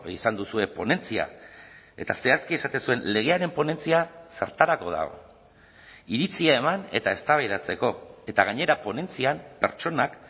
izan duzue ponentzia eta zehazki esaten zuen legearen ponentzia zertarako da iritzia eman eta eztabaidatzeko eta gainera ponentzian pertsonak